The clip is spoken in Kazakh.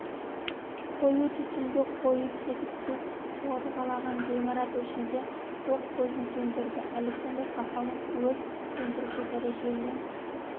қою түтінге қойып кетіп су сорғалаған ғимарат ішінде тоқ көзін сөндірді александр пахомов өрт сөндіруші дәрежелі